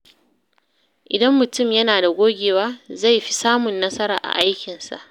Idan mutum yana da gogewa, zai fi samun nasara a aikinsa.